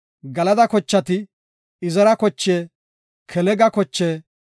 Galada kochati, Izera koche, Kelega koche,